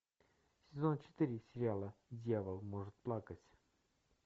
сезон четыре сериала дьявол может плакать